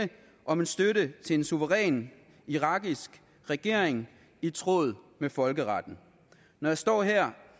om en støtte til en suveræn irakisk regering i tråd med folkeretten når jeg står her